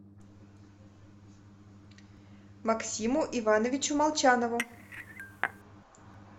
максиму ивановичу молчанову